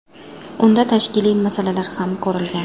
Unda tashkiliy masalalar ham ko‘rilgan.